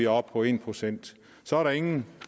oppe på en procent så er der ingen